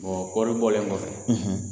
kɔɔri bɔlen kɔfɛ